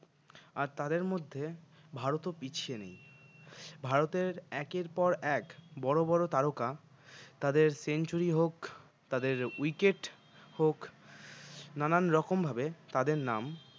আর তাদের মধ্যে ভারতও পিছিয়ে নেই ভারতের একের পর এক বড় বড় তারকা তাদের century হোক তাদের wicket হোক নানান রকমভাবে তাদের নাম